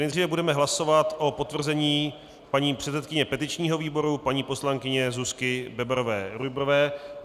Nejdříve budeme hlasovat o potvrzení paní předsedkyně petičního výboru paní poslankyně Zuzky Bebarové Rujbrové.